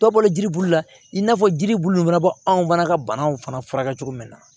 Dɔw bɔlen bulu la i n'a fɔ jiri bulu fana bɔ anw fana ka banaw fana furakɛ cogo min na